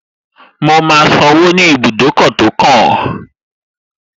Mo máa sanwó ní ibùdókọ̀ tó kàn